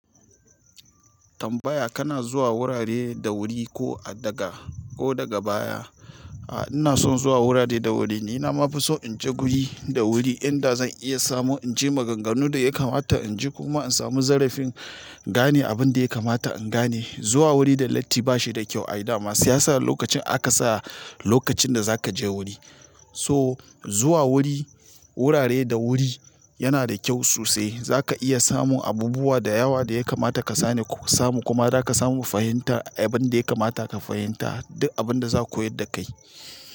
Tambaya kana zuwa wurare da wuri ko a daga ko daga baya? A'a ina son zuwa wurare da wuri. Ni nama fi so in je guri da wuri inda zan iya samu inji maganganu da ya kamata in ji kuma in samu zarafin gane abun da ya kamata in gane. Zuwa wuri da latti ba shi da kyau ai dama shi yasa lokacin aka sa lokacin da za ka je wuri. So zuwa wuri wurare da wuri yana da kyau sosai. Za ka iya samun abubuwa da yawa da ya kamata ka sani ko samu kuma za ka samu fahimta abin da ya kamata ka fahimta duk abin da za a koyar da kai.